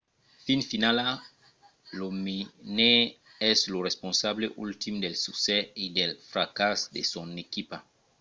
fin finala lo menaire es lo responsable ultim del succès e del fracàs de son equipa